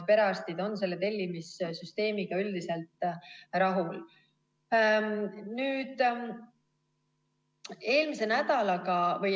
Perearstid on selle tellimissüsteemiga üldiselt rahul.